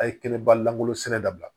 A ye kɛnɛba langolosɛnɛ dabila